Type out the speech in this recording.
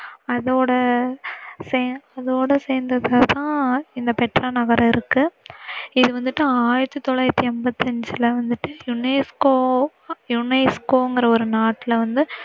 அதோட சேர்~அதோட சேர்ந்ததுதான் இந்த பெட்ரா நகர் இருக்கு. இத வந்திட்டு ஆயிரத்தி தொளாயிரத்தி எண்பத்தியஞ்சுல வந்திட்டு unesco, UNESCO னு ஒரு நாட்டில்ல வந்து